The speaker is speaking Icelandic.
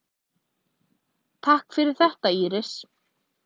Takk fyrir þetta Íris.